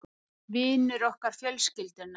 Vinur okkar fjölskyldunnar